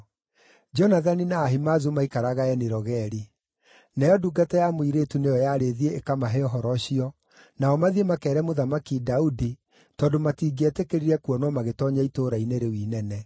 Jonathani na Ahimaazu maikaraga Eni-Rogeli. Nayo ndungata ya mũirĩtu nĩyo yarĩ ĩthiĩ ĩkamahe ũhoro ũcio, nao mathiĩ makeere Mũthamaki Daudi, tondũ matingĩetĩkĩrire kuonwo magĩtoonya itũũra-inĩ rĩu inene.